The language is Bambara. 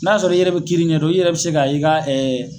N' y a sɔrɔ i yɛrɛ bɛ kiiri ɲɛ don, i yɛrɛ bɛ se ka i ka